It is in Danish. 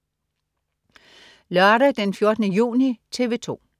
Lørdag den 14. juni - TV 2: